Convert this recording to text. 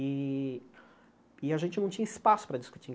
E e a gente não tinha espaço para discutir.